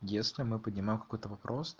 если мы поднимаем какой-то вопрос